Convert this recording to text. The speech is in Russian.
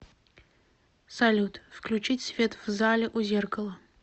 салют включить свет в зале у зеркала